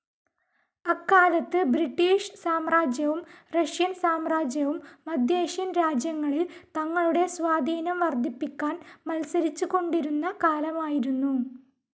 അക്കാലത്ത് ബ്രിട്ടീഷ് സാമ്രാജ്യവും റഷ്യൻ സാമ്രാജ്യവും മദ്ധ്യേഷ്യൻ രാജ്യങ്ങളിൽ തങ്ങളുടെ സ്വാധീനം വർദ്ധിപ്പിക്കാൻ മത്സരിച്ചുകൊണ്ടിരുന്ന കാലമായിരുന്നു.